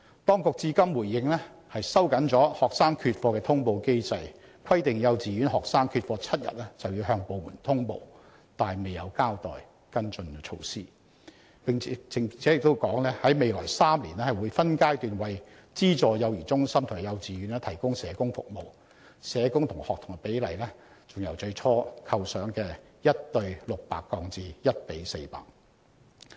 當局至今的回應是收緊了學生缺課的通報機制，規定幼稚園學生缺課7天便要向有關部門通報——卻未有交代跟進措施——並在未來3年分階段為資助幼兒中心及幼稚園提供社工服務，社工與學童的比例更由最初構想的 1：600 降為 1：400。